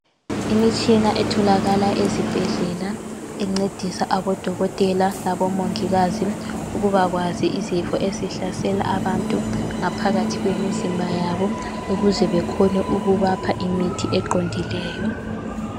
Imitshina etholakala ezibhedlela encedisa odokotela labomongikazi ukuba kwazi izifo ezihlasela abantu ngaphathi kwemizimba yabo ukuze bekhone ukubapha imithi eqondileyo.